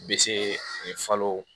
Bese falo